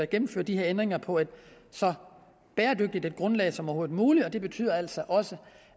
gennemføre de her ændringer på et så bæredygtigt grundlag som overhovedet muligt og det betyder altså også